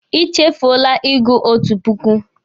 I chefuole ịgụ otu puku.